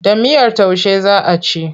Da miyar taushe za a ci.